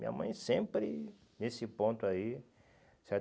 Minha mãe sempre nesse ponto aí, certo?